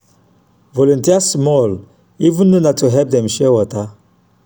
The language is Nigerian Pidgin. volunteer small even if na to help dem share water.